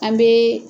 An bɛ